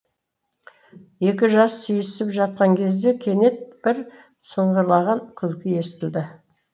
екі жас сүйісіп жатқан кезде кенет бір сыңғырлаған күлкі естілді